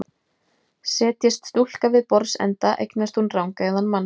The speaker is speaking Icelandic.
Setjist stúlka við borðsenda eignast hún rangeygðan mann.